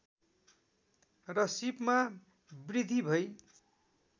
र सीपमा वृद्धि भई